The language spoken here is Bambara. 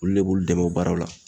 Olu le b'olu dɛmɛn o baaraw la.